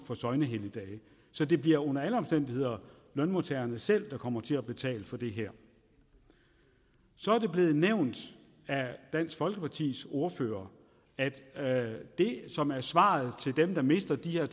for søgnehelligdage så det bliver under alle omstændigheder lønmodtagerne selv der kommer til at betale for det her så er det blevet nævnt af dansk folkepartis ordfører at det som er svaret til dem der mister de her